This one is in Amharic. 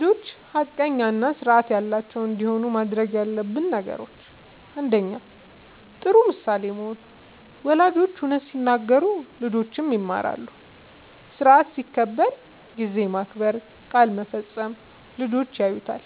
ልጆች ሐቀኛ እና ስርዓት ያላቸው እንዲሆኑ ማድረግ ያለብን ነገሮችን፦ ፩. ጥሩ ምሳሌ መሆን፦ ወላጆች እውነት ሲናገሩ ልጆችም ይማራሉ። ስርዓት ሲከበር (ጊዜ መከበር፣ ቃል መፈጸም) ልጆች ያዩታል።